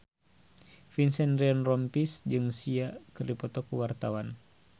Vincent Ryan Rompies jeung Sia keur dipoto ku wartawan